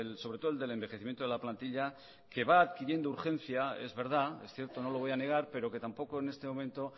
sobre todo el del envejecimiento de la plantilla que va adquiriendo urgencia es verdad es cierto no lo voy a negar pero que tampoco en este momento